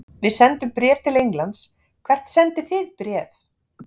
Við sendum bréf til Englands. Hvert sendið þið bréf?